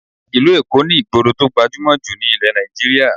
Ìlú Èkó ní ìgboro tó gbajúmọ̀ ní ilẹ̀ Nigeria